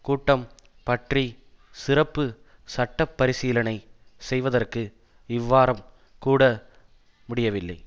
கூட்டம் பற்றி சிறப்பு சட்ட பரிசீலனை செய்வதற்கு இவ்வாரம் கூட முடியவில்லை